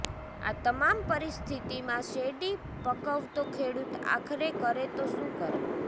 આ તમામ પરિસ્થિતિમાં શેરડી પકવતો ખેડૂત આખરે કરે તો શું કરે